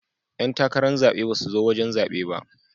Yan takarar zabe ba su zo wajen zaɓe ba.